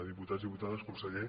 diputats i diputades conseller